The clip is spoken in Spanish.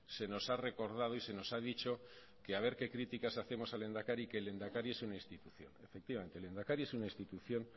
se nos ha recordado y se nos ha dicho que a ver qué críticas hacemos al lehendakari que el lehendakari es una institución efectivamente el lehendakari es una institución